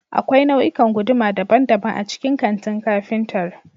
Akwai nau'ikan guduma daban-daban a cikin kantin kafintar